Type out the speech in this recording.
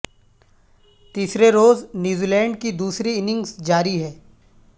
تیسرے روز New Zealand دوسری اننگز جاری ہے